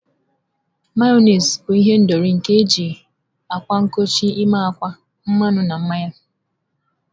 Mayonezi bụ ihendori nke eji akwa nkochi ime akwa, mmanụ na mmanya